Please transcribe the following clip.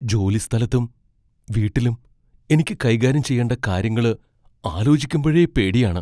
ജോലിസ്ഥലത്തും വീട്ടിലും എനിക്ക് കൈകാര്യം ചെയ്യേണ്ട കാര്യങ്ങള് ആലോചിക്കുമ്പഴേ പേടിയാണ്.